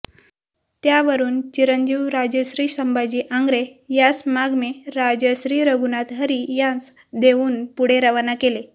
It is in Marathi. त्यावरून चिरंजीव राजश्री संभाजी आंगरे यासमागमें राजश्री रघुनाथ हरी यांस देऊन पुढें रवाना केलें